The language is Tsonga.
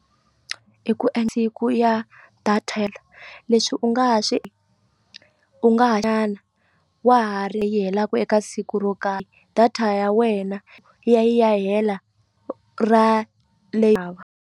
I ku ya data leswi u nga ha swi u wa ha ri yi helaku eka siku ro karhi data ya wena yi ya yi ya hela ra .